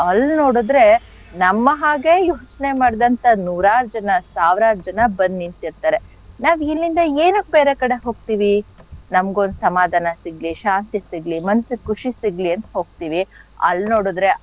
ಅಲ್ ನೋಡಿದ್ರೆ ನಮ್ಮ ಹಾಗೆ ಯೋಚ್ನೆ ಮಾಡಿದಂಥ ನೂರಾರ್ ಜನ ಸಾವ್ರಾರ್ ಜನ ಬಂದ್ ನಿಂತಿರ್ತಾರೆ ನಾವಿಲ್ಲಿಂದ ಏನಕ್ ಬೇರೆ ಕಡೆ ಹೋಗ್ತೀವಿ, ನಮ್ಗೊಂದ್ ಸಮಾಧಾನ ಸಿಗ್ಲಿ ಶಾಂತಿ ಸಿಗ್ಲಿ ಮನ್ಸಿಗ್ ಖುಷಿ ಸಿಗ್ಲಿ ಅಂತ್ ಹೋಗ್ತಿವಿ ಅಲ್ ನೋಡಿದ್ರೆ,